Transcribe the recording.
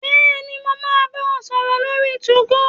Bẹ́ẹ̀ni, mo máa bá ọ sọ̀rọ̀ lórí 2go